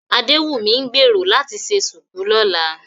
Adéwùnmí ń gbèrò láti ṣe ṣùkú lọ́la